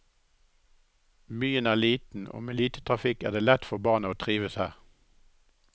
Byen er liten, og med lite trafikk er det lett for barna å trives her.